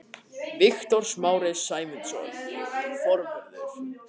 Viktor Smári Sæmundsson, forvörður.